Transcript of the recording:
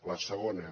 la segona